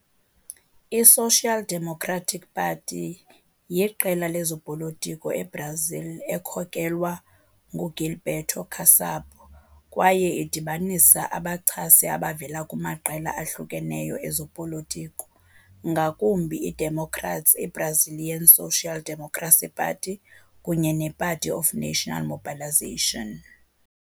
I-Social Democratic Party yiqela lezopolitiko eBrazil ekhokelwa nguGilberto Kassab kwaye idibanisa abachasi abavela kumaqela ahlukeneyo ezopolitiko, ngakumbi iDemocrats, i-Brazilian Social Democracy Party kunye ne-Party of National Mobilization.